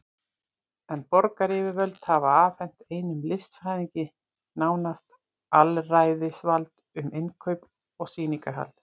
En borgaryfirvöld hafa afhent einum listfræðingi nánast alræðisvald um innkaup og sýningarhald.